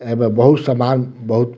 ए में बहुत सामान बहुत --